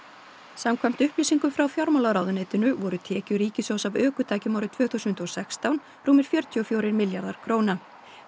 samkvæmt upplýsingum frá fjármálaráðuneytinu voru tekjur ríkissjóðs af ökutækjum árið tvö þúsund og sextán rúmir fjörutíu og fjórir milljarðar króna